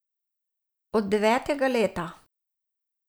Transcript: Od devetega leta.